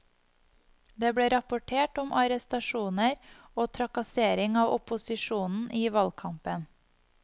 Det ble rapportert om arrestasjoner og trakassering av opposisjonen i valgkampen.